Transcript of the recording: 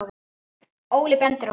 Óli bendir á mig